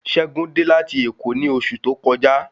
Ṣẹ́gun dé láti èkó ni osu to kọjá